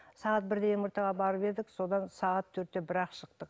сағат бірде мрт ға барып едік содан сағат төртте бірақ шықтық